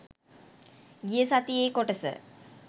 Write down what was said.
ගිය සතියේ කොටස